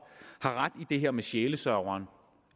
har ret i det her med sjælesørgeren